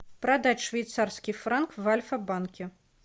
продать швейцарский франк в альфа банке